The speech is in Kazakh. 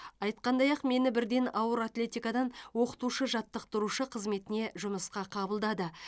айтқандай ақ мені бірден ауыр атлетикадан оқытушы жаттықтырушы қызметіне жұмысқа қабылдады